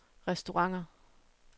restauranter